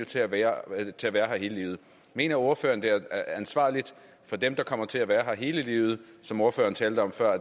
til at være her hele livet mener ordføreren at det er ansvarligt for dem der kommer til at være her hele livet som ordføreren talte om før